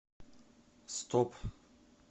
стоп